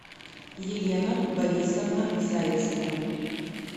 елена борисовна зайцева